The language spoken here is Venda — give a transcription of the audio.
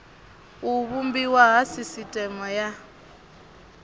u vhumbiwa ha sisiteme ya